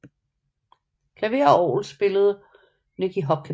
Klaver og orgel spillede Nicky Hopkins